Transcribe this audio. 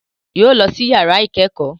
Yóò lọ sí yàrá ìkẹ́kọ̀ọ́